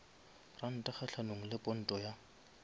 ranta kgahlanong le ponto ya